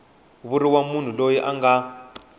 vuriwa munhu loyi a nga